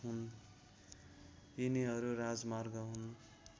यिनीहरू राजमार्ग हुन्